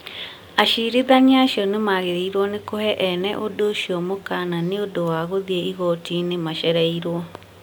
Acirithania acio nĩ maagĩrĩirũo nĩ kũhe ene ũndũ ũcio mũkana nĩ ũndũ wa gũthiĩ igooti-inĩ macereirwo.